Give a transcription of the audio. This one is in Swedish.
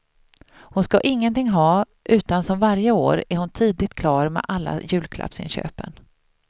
Hon skall ingenting ha, utan som varje år är hon tidigt klar med alla julklappsinköpen.